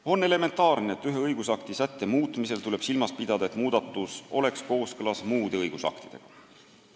On elementaarne, et ühe õigusakti sätte muutmisel tuleb silmas pidada, et muudatus oleks kooskõlas muude õigusaktidega.